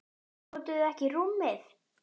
Notuðuð þið ekki rúmið?